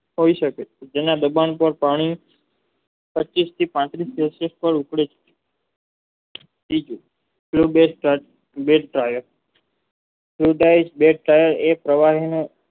થાય શકે છે જેને દબાણ સાર પાણી પ્રતિષ્ઠિત આંતરિક જે તે કરતી બીજું તે બે ઉદાત્ત કર્યે એ પ્રવાહનો